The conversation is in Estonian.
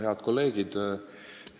Head kolleegid!